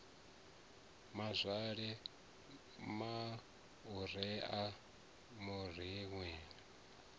mazwale maureen a rumiwe u